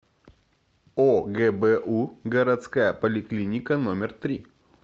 огбу городская поликлиника номер три